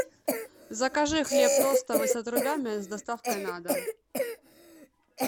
закажи хлеб тостовый с отрубями с доставкой на дом